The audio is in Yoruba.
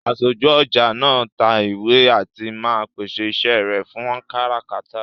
Aṣojú ọjà máa ń ta ìwé àti máa ń pèsè iṣẹ́ rẹ fún káràkátà